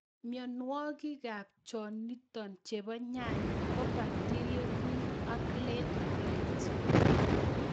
Mionwikab chonootin chebo nyanyik ko bacterial wilt ak late blight.